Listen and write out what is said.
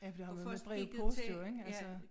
Ja for det har jo været med brevpost jo ik altså